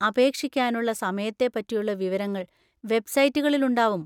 അപേക്ഷിക്കാനുള്ള സമയത്തെ പറ്റിയുള്ള വിവരങ്ങൾ വെബ്സൈറ്റുകളിൽ ഉണ്ടാവും.